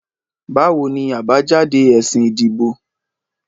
Báwo ni àbájáde ẹsìn ìdìbò?